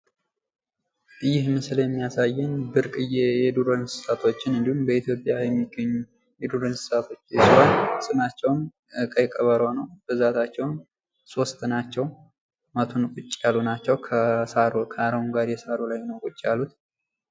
ይህ ምስል የሚያሳየን ብርቅዬ የዱር እንስሳዎችን እንዲሁም በኢትዮጵያ የሚገኙ የዱር እንስሳዎችን ሲሆን ስማቸውም ቀይ ቀበሮ ነው፤ ብዛታቸውም ሶስት ናቸው፤ ቁጭ ያሉ ናቸው ከአረንጓዴ ሳር ላይ ነው ቁጭ ያሉት።